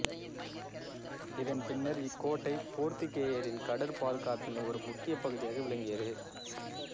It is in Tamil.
இதன் பின்னர் இக்கோட்டை போர்த்துக்கேயரின் கடற் பாதுகாப்பின் ஒரு முக்கிய பகுதியாக விளங்கியது